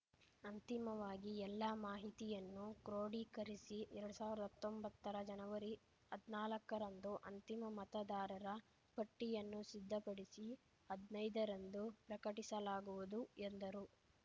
ಅಂತಿಮವಾಗಿ ಎಲ್ಲ ಮಾಹಿತಿಯನ್ನು ಕ್ರೋಢೀಕರಿಸಿ ಎರಡ್ ಸಾವ್ರ್ದಾ ಹತ್ತೊಂಬತ್ತರ ಜನವರಿ ಹದ್ನಾಲಕ್ಕರಂದು ಅಂತಿಮ ಮತದಾರರ ಪಟ್ಟಿಯನ್ನು ಸಿದ್ಧಪಡಿಸಿ ಹದ್ನೈದರಂದು ಪ್ರಕಟಿಸಲಾಗುವುದು ಎಂದರು